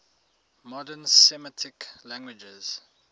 modern semitic languages